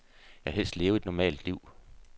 Jeg vil helst leve et normalt liv.